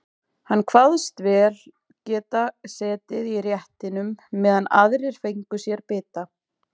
Hann kvaðst vel geta setið í réttinum meðan aðrir fengju sér bita.